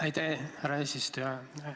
Aitäh, härra eesistuja!